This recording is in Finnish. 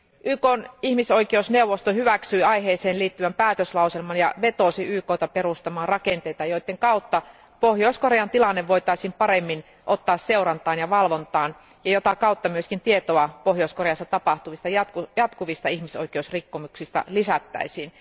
YKn ihmisoikeusneuvosto hyväksyi aiheeseen liittyvän päätöslauselman ja vetosi YKta perustamaan rakenteita, joiden kautta Pohjois Korean tilanne voitaisiin paremmin ottaa seurantaan ja valvontaan ja jota kautta myös tietoa Pohjois Koreassa tapahtuvista jatkuvista ihmisoikeusrikkomuksista lisättäisiin.